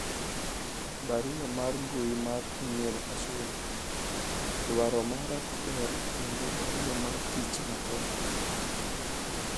barua mar mbui mar email Ashwin ,dwaro mara ber kendo barua mar tich matene